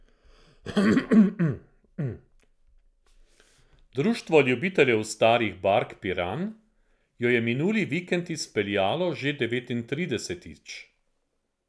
Društvo ljubiteljev starih bark Piran jo je minuli vikend izpeljalo že devetintridesetič.